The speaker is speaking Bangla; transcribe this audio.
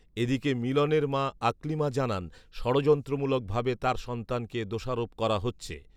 এদিকে মিলনের মা আকলিমা জানান যড়যন্ত্রমূলক ভাবে তার সন্তানকে দোষারোপ করা হচ্ছে